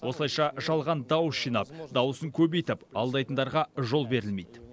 осылайша жалған дауыс жинап дауысын көбейтіп алдайтындарға жол берілмейді